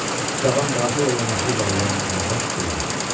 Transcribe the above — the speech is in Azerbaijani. Cavan Qazi ilə yanaşı irəliləyən qızılbaş güldü.